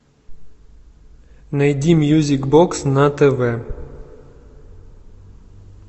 найди мьюзик бокс на тв